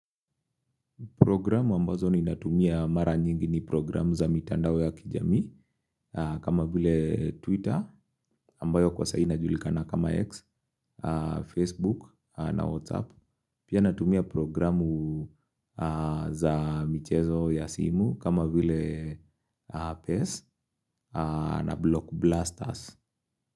Programu ambazo ninatumia mara nyingi ni programu za mitandao ya kijamii kama vile Twitter ambayo kwa sai inajulikana kama X, Facebook na WhatsApp. Pia natumia programu za michezo ya simu kama vile PESS na Block Blasters.